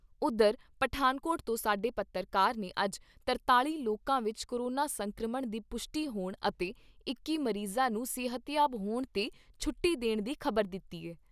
ਉਧਰ ਪਠਾਨਕੋਟ ਤੋਂ ਸਾਡੇ ਪੱਤਰਕਾਰ ਨੇ ਅੱਜ ਤਰਤਾਲ਼ੀ ਲੋਕਾਂ ਵਿਚ ਕੋਰੋਨਾ ਸੰਕਰਮਣ ਦੀ ਪੁਸ਼ਟੀ ਹੋਣ ਅਤੇ ਇੱਕੀ ਮਰੀਜ਼ਾਂ ਨੂੰ ਸਿਹਤਯਾਬ ਹੋਣ 'ਤੇ ਛੁੱਟੀ ਦੇਣ ਦੀ ਖ਼ਬਰ ਦਿੱਤੀ ਏ।